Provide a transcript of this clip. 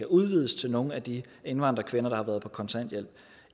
udvides til nogle af de indvandrerkvinder der har været på kontanthjælp